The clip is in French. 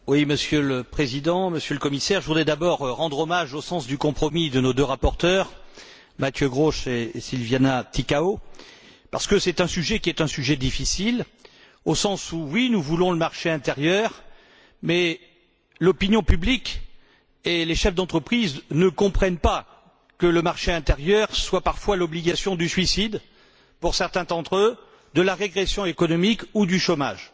Monsieur le Président, Monsieur le Commissaire, je voudrais tout d'abord rendre hommage au sens du compromis de nos deux rapporteurs, Mathieu Grosch et Silvia Adriana Ticău, parce que c'est un sujet difficile au sens où, oui, nous voulons le marché intérieur, mais l'opinion publique et les chefs d'entreprise ne comprennent pas que le marché intérieur soit parfois l'obligation du suicide pour certains d'entre eux, de la régression économique ou du chômage.